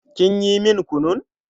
Kin yi min kunun?